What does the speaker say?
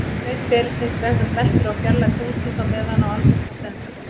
Breidd ferilsins veltur á fjarlægð tunglsins á meðan á almyrkva stendur.